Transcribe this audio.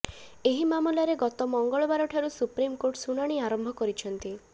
ଏହି ମାମଲାରେ ଗତ ମଙ୍ଗଳବାରଠାରୁ ସୁପ୍ରିମକୋର୍ଟ ଶୁଣାଣି ଆରମ୍ଭ କରିଛନ୍ତି